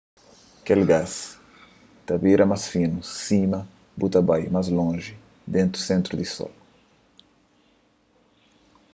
kel gás ta bira más finu sima bu ta bai más lonji di sentru di sol